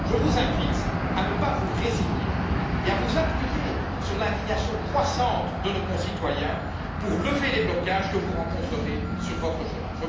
Je vous invite à ne pas vous résigner et à vous appuyer sur l'indignation croissante de nos concitoyens afin de lever les blocages que vous rencontrerez sur votre chemin.